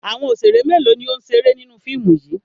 Àwọn òṣèrè mélòó ni ó ń ṣeré nínú fíìmù yìí?